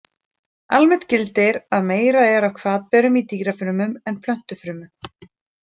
Almennt gildir að meira er af hvatberum í dýrafrumum en plöntufrumum.